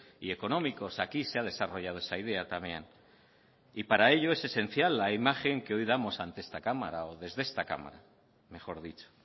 y económicos aquí se ha desarrollado esa idea también y para ello es esencial la imagen que hoy damos ante esta cámara o desde esta cámara mejor dicho